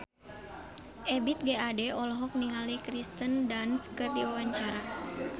Ebith G. Ade olohok ningali Kirsten Dunst keur diwawancara